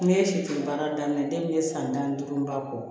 Ne ye sifin baara daminɛ ne ye san tan ni duuru ba bɔ